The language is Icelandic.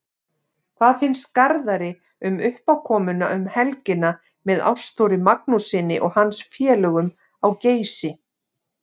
Hvað finnst Garðari um uppákomuna um helgina með Ástþóri Magnússyni og hans félögum á Geysi?